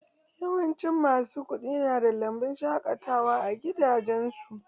Yawancin masu kuɗi nada lambun shaƙatawa a gidajensu.